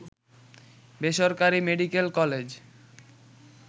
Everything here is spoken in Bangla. বেসরকারি মেডিকেল কলেজ